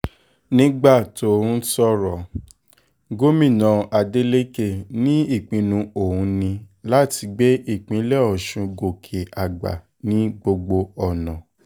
nígbà tó ń sọ̀rọ̀ gómìnà adeleke ní ìpinnu òun ní láti gbé ìpínlẹ̀ ọ̀ṣun gòkè àgbà ní gbogbo ọ̀nà